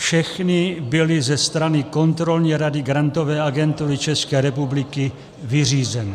Všechny byly ze strany kontrolní rady Grantové agentury České republiky vyřízeny.